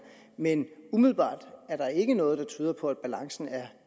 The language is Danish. men umiddelbart er der ikke noget der tyder på at balancen er